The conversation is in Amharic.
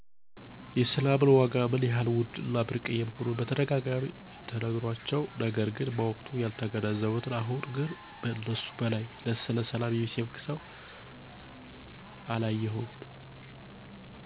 የሰላምን ዋጋ ምን ያህል ውድ እና ብርቅየ መሆኑን በተደጋጋሚ ተነግሯቸው፤ ነገር ግን በወቅቱ ያልተገነዘቡት አሁን ግን ከእነሱ በላይ ስለሰላም የሚሰብክ ሰው አላይቼም።